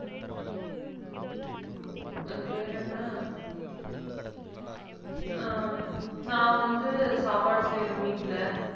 அது பேர் என்ன? ஹம் நான் வந்து சாப்பாடு செய்யறேன் வீட்ல